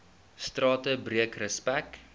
strate breek respek